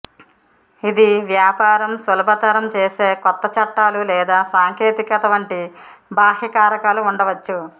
ఇది వ్యాపారం సులభతరం చేసే కొత్త చట్టాలు లేదా సాంకేతికత వంటి బాహ్య కారకాలు ఉండవచ్చు